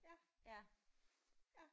Ja ja